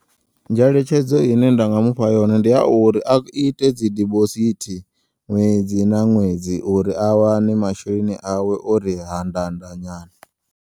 Ngeletshedzo ine nda nga mufha yone ndi yauri, a ite dzi diposithi ṅwedzi na ṅwedzi uri awane masheleni awe ori hanḓanḓa nyana.